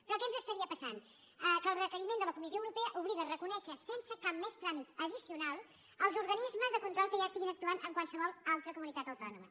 però què ens passaria que el requeriment de la comissió europea obliga a reconèixer sense cap més tràmit addicional els organismes de control que ja actuïn en qualsevol altra comunitat autònoma